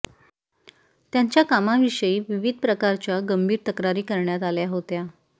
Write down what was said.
त्यांच्या कामाविषयी विविध प्रकारच्या गंभीर तक्रारी करण्यात आल्या होत्या